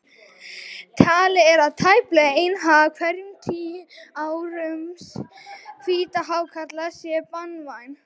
Talið er að tæplega ein af hverjum tíu árásum hvíthákarla sé banvæn.